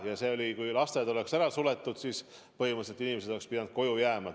Ja kui lasteaiad oleks suletud, siis põhimõtteliselt need inimesed peaksid koju jääma.